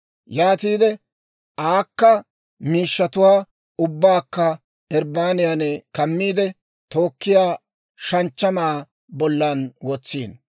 Yaatiide aakka miishshatuwaa ubbaakka irbbaniyan kammiide, tookkiyaa shanchchamaa bollan wotsino.